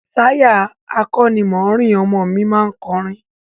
Táyà akọ́nimọ̀ọ́rìn ọmọ mi má ń kọrin